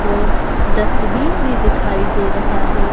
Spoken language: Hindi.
और डस्टबिन भी दिखाई दे रहा है।